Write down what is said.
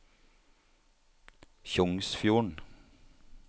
Tjongsfjorden